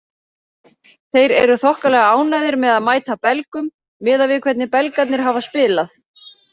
Þeir eru þokkalega ánægðir með að mæta Belgum miðað við hvernig Belgarnir hafa spilað.